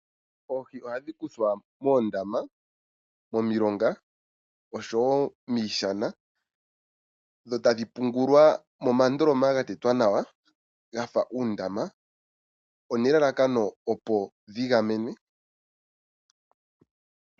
Oohi ohadhi kuthwa moondama, momilonga osho woo miishana dho tadhi pungulwa momandikoma ga tetwa nawa, gafa uundama, nelalakano opo dhi gamenwe.